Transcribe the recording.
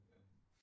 Ja